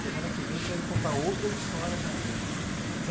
Semana que vem, você vai me contar outras histórias ainda.